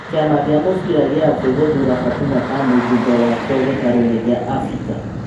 Kĩ ama gĩ a mũbira gĩ a thĩ gũthura Fatuma ta mũjumbe wakĩ o gĩ taroinĩ gĩ a Afrika.